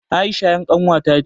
Aisha ƴar ƙanwa ta ce